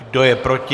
Kdo je proti?